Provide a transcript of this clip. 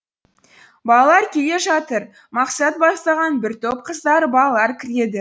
балалар келе жатыр мақсат бастаған бір топ қыздар балалар кіреді